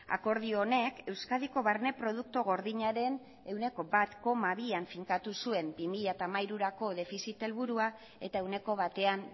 akordio honek euskadiko barne produktu gordinaren ehuneko bat koma bian finkatu zuen bi mila hamairurako defizit helburua eta ehuneko batean